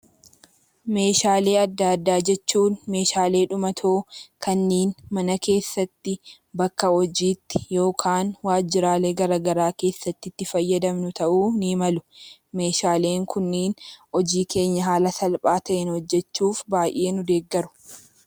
Meeshaalee adda addaa jechuun meeshaalee dhumatoo kanneen mana keessatti, bakka hojiitti yookiin waajjiraalee garaa garaa keessatti itti fayyadamnu ta'uu ni malu. Meeshaaleen kunneen hojii keenya haala salphaa ta'een hojjechuuf baay'ee nu deeggaru.